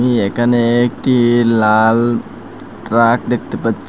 আমি এখানে একটি লাল ট্রাক দেখতে পাচ্ছি।